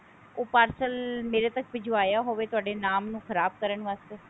ਉਹ parcel ਮੇਰੇ ਤੱਕ ਭਿਜਵਾਇਆ ਹੋਵੇ ਤੁਹਾਡੇ ਨਾਮ ਨੂੰ ਖ਼ਰਾਬ ਕਰਨ ਵਾਸਤੇ